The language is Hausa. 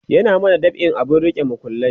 ya mana dab'in abun rike makullai